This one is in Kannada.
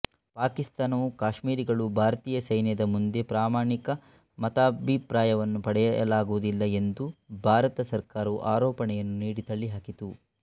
ಪಾಕಿಸ್ತಾನವು ಕಾಶ್ಮೀರಿಗಳು ಭಾರತೀಯ ಸೈನ್ಯದ ಮುಂದೆ ಪ್ರಾಮಾಣಿಕ ಮತಾಭಿಪ್ರಾಯವನ್ನು ಪಡೆಯಲಾಗುವುದಿಲ್ಲ ಎಂದು ಭಾರತ ಸರ್ಕಾರವು ಆರೋಪಣೆಯನ್ನು ನೀಡಿ ತಳ್ಳಿಹಾಕಿತು